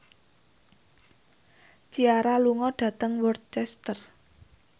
Ciara lunga dhateng Worcester